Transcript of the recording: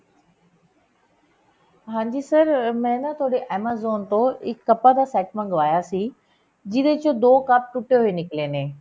ਹਾਂਜੀ sir ਮੈਂ ਨਾ ਤੁਹਾਡੇ amazon ਤੋਂ ਇੱਕ ਕੱਪਾਂ ਦਾ set ਮੰਗਵਾਇਆ ਸੀ ਜਿਹਦੇ ਚ ਦੋ ਕੱਪ ਟੁੱਟੇ ਹੋਏ ਨਿਕਲੇ ਨੇ